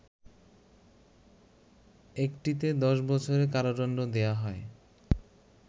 একটিতে ১০ বছরের কারাদণ্ড দেয়া হয়